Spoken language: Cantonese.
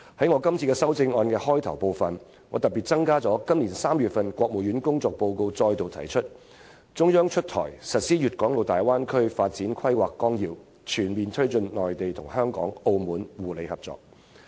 我特別在我的修正案引言部分增加了今年3月國務院發表的政府工作報告中再度提出的說法："出台實施粵港澳大灣區發展規劃綱要，全面推進內地同香港、澳門互利合作。